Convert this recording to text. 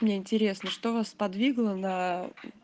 мне интересно что вас сподвигло на